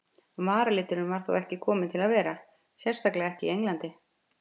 Varaliturinn var þó ekki kominn til að vera, sérstaklega ekki í Englandi.